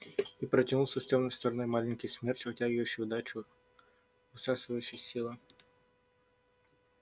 и протянулся с тёмной стороны маленький смерч вытягивающий удачу высасывающий силы